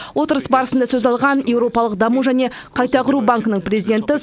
отырыс барысында сөз алған еуропалық даму және қайта құру банкінің президенті